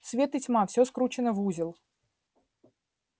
свет и тьма всё скручено в узел